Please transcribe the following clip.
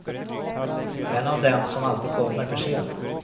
En av dem som alltid kommer för sent.